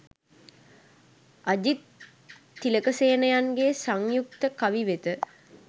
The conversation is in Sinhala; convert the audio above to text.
අජිත් තිලකසේනයන්ගේ සංයුක්ත කවි වෙත